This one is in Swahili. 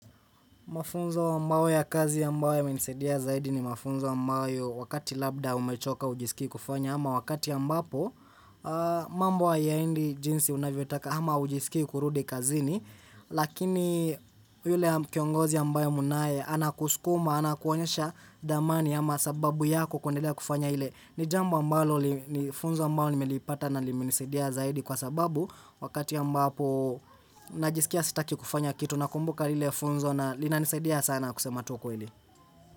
Mafunzo ambayo ya kazi ambaye yamenisaidia zaidi ni mafunzo ambayo wakati labda umechoka hujiski kufanya ama wakati ambapo, mambo hayaendi jinsi unavyotaka ama hujiski kurudi kazini, lakini yule kiongozi ambaye munaye anakuskuma, ana kuonyesha dhamani ama sababu yako kuendelea kufanya ile. Ni jambo ambalo nilifunzwa ambao nimelipata na limenisaidia zaidi kwa sababu wakati ambapo najiskia sitaki kufanya kitu na kumbuka lile funzo na linanisaidia sana kusema tu ukweli.